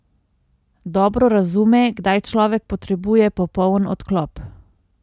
Dobro razume, kdaj človek potrebuje popoln odklop.